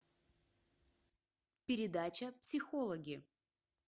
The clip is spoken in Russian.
передача психологи